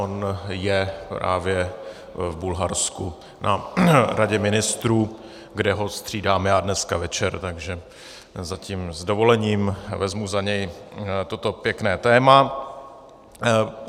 On je právě v Bulharsku na Radě ministrů, kde ho střídám já dneska večer, takže zatím s dovolením vezmu za něj toto pěkné téma.